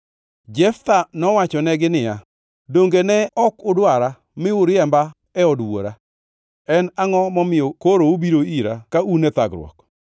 Jeftha nowachonegi niya, “Donge ne ok udwara mi uriembo e od wuora? En angʼo momiyo koro ubiro ira, ka un e thagruok?”